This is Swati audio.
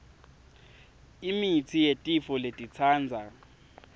imitsi yetifo letitsatsa